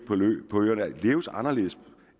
på øerne leves anderledes